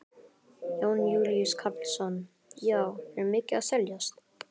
Jón Júlíus Karlsson: Já, er mikið að seljast?